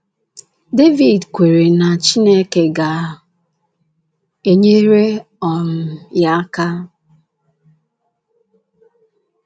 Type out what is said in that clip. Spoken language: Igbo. Devid kweere na Chineke ga - enyere um ya aka.